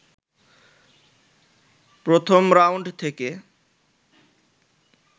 প্রথম রাউন্ড থেকে